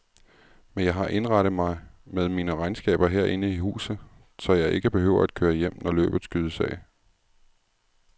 Men jeg har indrettet mig med mine regnskaber herinde i huset, så jeg ikke behøver at køre hjem, når løbet skydes af.